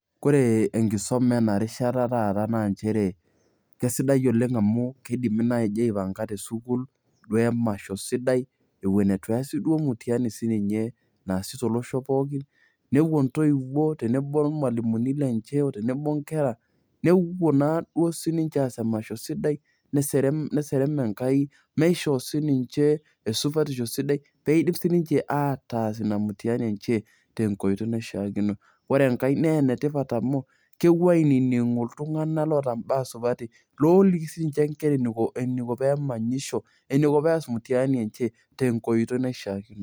Ore enkisuma enarishata taata naa nchere kesidai oleng' amu keidimi naaji aipanga te CS[school]CS duoo emasho sidai eton etu easi mutiani naasita olosho pooki nepuo intoiwuo tenebo olmalimuni lenye tenebo oo inkera nepuo naaduo sinje aas emasho sidai neserem enkai neisho sininje esupatisho sidai peyiee iidim sinje ataas mutiani enye te nkoitoi naishaakino, ore enkae naa enetipat amu kepuo ainining'u iltung'anak loota imbaa supati looliki sininje inkera eneiko pees mutiani enye te nkoitoi naishaakino.